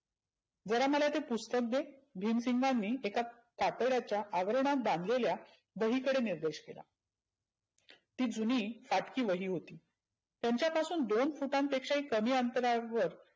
जरा मला ते पुस्तक दे भिमसिंगांनी एका कातड्याच्या आवर्नात बांधलेल्या वही कडे निर्देश केला. ती जुणि फाटकी वही होती. त्यांच्या पासून दोन फुटांपेक्षा कमी अंतरावर